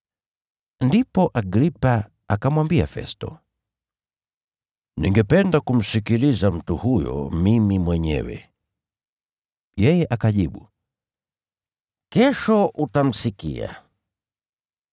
Ndipo Agripa akamwambia Festo, “Ningependa kumsikiliza mtu huyo mimi mwenyewe.” Yeye akajibu, “Kesho utamsikia.”